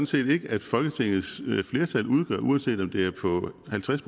set ikke at folketingets flertal udgør uanset om det er på halvtreds